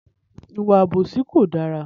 Ìwà àbòsí kò dára.